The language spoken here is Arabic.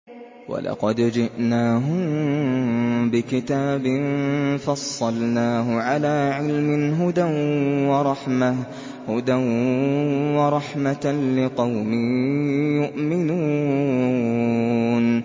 وَلَقَدْ جِئْنَاهُم بِكِتَابٍ فَصَّلْنَاهُ عَلَىٰ عِلْمٍ هُدًى وَرَحْمَةً لِّقَوْمٍ يُؤْمِنُونَ